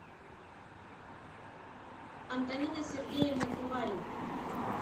антонина сергеевна куварина